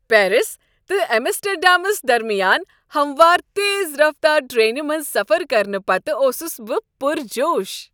Paris تہٕ ایمسٹرڈیمس درمیان ہموار، تیز رفتار ٹرٛینہِ منز سفر کرنہٕ پتہٕ اوسس بہٕ پر جوش۔